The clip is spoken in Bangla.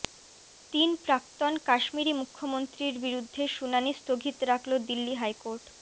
তিন প্রাক্তন কাশ্মীরি মুখ্যমন্ত্রীর বিরুদ্ধে শুনানি স্থগিত রাখল দিল্লি হাইকোর্ট